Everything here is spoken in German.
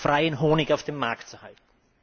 freien Honig auf dem Markt zu halten.